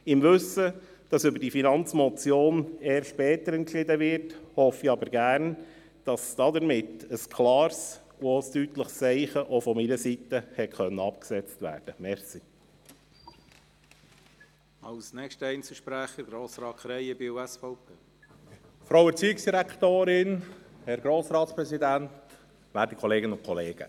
Im Wissen, dass über diese Finanzmotion erst später entschieden wird, hoffe ich aber gerne, dass damit ein klares und ein deutliches Zeichen auch von meiner Seite gesetzt werden konnte.